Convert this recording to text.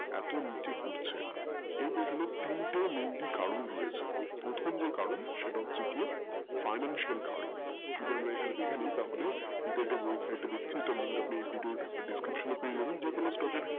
এত নিচে পড়ছে এটার mainly তিনটে কারণ রয়েছে প্রথ যে কারণ সেইটা হচ্ছে যে financial কারণ দিয়ে আমরা দেখেনি তাহলে যে কোটা ভুল website গুলো সেটার description আপনি stock এ পেয়ে যাবেন